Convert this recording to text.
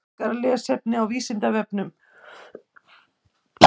Frekara lesefni á Vísindavefnum: Hvers vegna er munur á kaup- og sölugengi gjaldmiðla?